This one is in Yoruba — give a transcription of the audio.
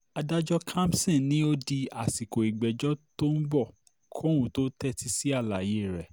adájọ́ kamson ni ó di àsìkò ìgbẹ́jọ́ tó ń bọ̀ kóun tóó tẹ́tí sí àlàyé rẹ̀